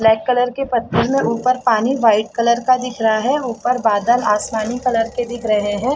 Black colour के पत्थर में ऊपर पानी व्हाइट कलर का दिख रहा है और ऊपर बादल आसमानी कलर के दिख रहे है।